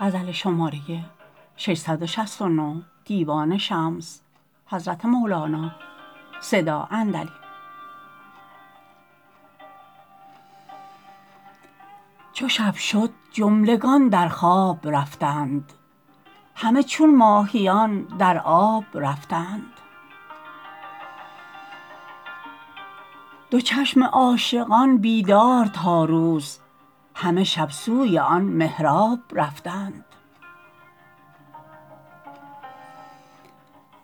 چو شب شد جملگان در خواب رفتند همه چون ماهیان در آب رفتند دو چشم عاشقان بیدار تا روز همه شب سوی آن محراب رفتند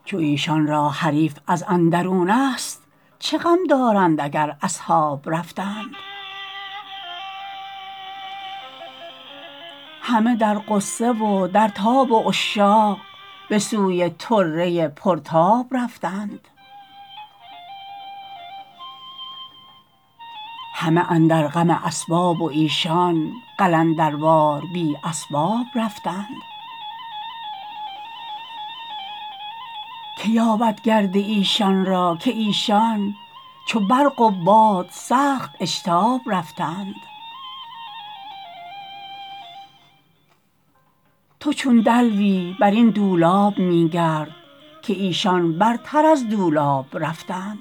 چو ایشان را حریف از اندرونست چه غم دارند اگر اصحاب رفتند همه در غصه و در تاب و عشاق به سوی طره پرتاب رفتند همه اندر غم اسباب و ایشان قلنداروار بی اسباب رفتند که یابد گرد ایشان را که ایشان چو برق و باد سخت اشتاب رفتند تو چون دلوی بر بن دولاب می گرد که ایشان برتر از دولاب رفتند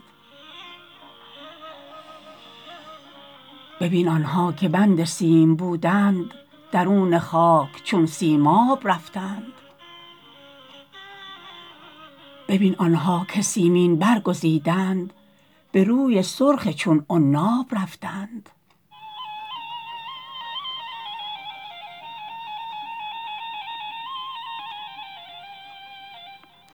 ببین آن ها که بند سیم بودند درون خاک چون سیماب رفتند ببین آن ها که سیمین بر گزیدند به روی سرخ چون عناب رفتند